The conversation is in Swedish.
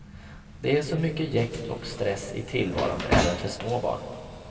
Det är så mycket jäkt och stress i tillvaron även för små barn.